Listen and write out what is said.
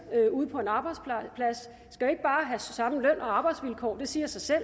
ude på en arbejdsplads skal jo ikke bare have samme løn og arbejdsvilkår det siger sig selv at